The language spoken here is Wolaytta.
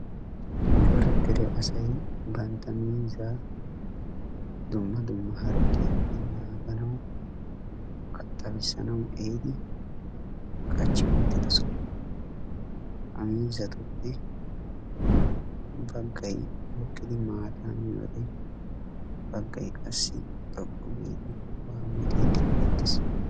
Cora dere asay bantta miizzaa dumma dumma harggiyaappe naaganaw, kaattabisanaw ehiidi qachchi wottidooosona Ha miizzatuppe baggay hokkidi maata miyyoode baggay qassi xoqqu giidi waammotiiddi bettees.